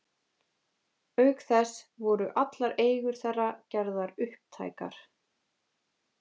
Auk þess voru allar eigur þeirra gerðar upptækar.